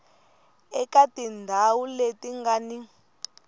eka tindhawu leti nga ni